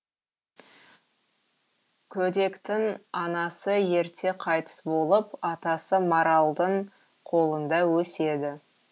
көдектің анасы ерте қайтыс болып атасы маралдың қолында өседі